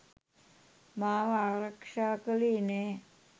මාව ආරක්ෂා කළේ නැහැ.